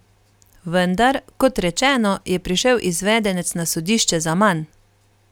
Vendar, kot rečeno, je prišel izvedenec na sodišče zaman.